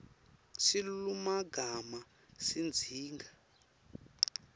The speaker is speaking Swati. silulumagama sidzinga